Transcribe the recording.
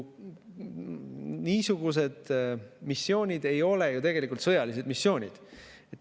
Niisugused missioonid ei ole ju tegelikult sõjalised missioonid.